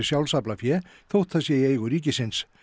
sjálfsaflafé þótt það sé í eigu ríkisins